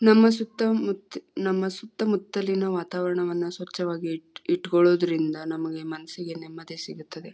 ನಮ್ಮ ಸುತ್ತ ಮುತ್ ನಮ್ಮ ಸುತ್ತ ಮುತ್ತಲಿನ ವಾತಾವರಣವನ್ನ ಸ್ವಚ್ಛವಾಗಿ ಇಟ್ಟ ಇಟ್ಟುಕೊಳ್ಳೋದ್ರಿಂದ ನಮಗೆ ಮನ್ಸಿಗೆ ನೆಮ್ಮದಿ ಸಿಗುತ್ತೆ.